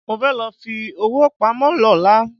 Mo fẹ́ lọ fi owó pamọ́ lọ́la